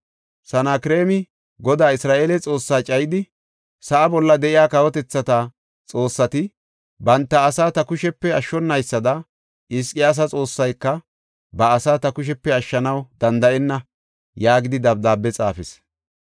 Sanakreemi Godaa Isra7eele Xoossaa cayidi, “Sa7a bolla de7iya kawotethata xoossati banta asaa ta kushepe ashshonaysada Hizqiyaasa Xoossayka ba asaa ta kushepe ashshanaw danda7enna” yaagidi dabdaabe xaafis.